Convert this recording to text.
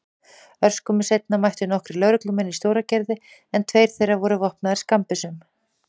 Örskömmu seinna mættu nokkrir lögreglumenn í Stóragerði en tveir þeirra voru vopnaðir skammbyssum.